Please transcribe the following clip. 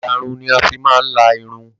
Ìlarun ní a fi máa ń la Irun